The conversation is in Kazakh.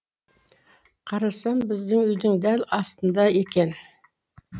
қарасам біздің үйдің дәл астында екен